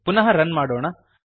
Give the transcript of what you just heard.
ಪುನಃ ರನ್ ಮಾಡೋಣ